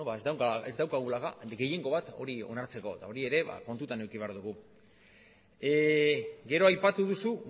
ez daukagula gehiengo bat hori onartzeko eta hori ere ba kontutan eduki behar dugu gero aipatu duzu